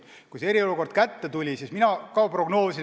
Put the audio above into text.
Kui eriolukord kehtestati, siis mina ka prognoosisin seda probleemi.